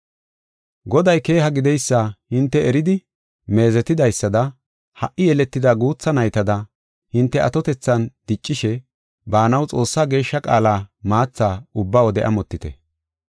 Goday keeha gideysa hinte eridi meezetidaysada ha77i yeletida guutha naytada hinte atotethan diccishe baanaw Xoossaa geeshsha qaala maatha ubba wode amotite.